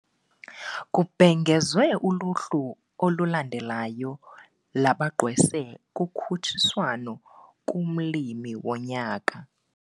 Kubhengezwe uluhlu olulandelayo labagqwese kukhutshiswano kumLimi woNyaka.